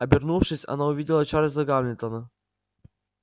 обернувшись она увидела чарлза гамильтона